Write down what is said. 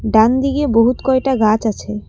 ডানদিকে বহুত কয়টা গাছ আছে।